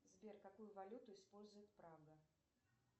сбер какую валюту использует прага